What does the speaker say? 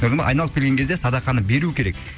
көрдің ба айналып келген кезде садақаны беру керек